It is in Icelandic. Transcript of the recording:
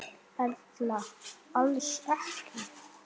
Erla: Alls ekki?